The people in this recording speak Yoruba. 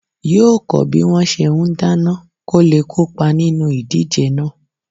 Yóò kọ́ bí wọ́n ṣe ń dáná kóle kópa nínú ìdíje náà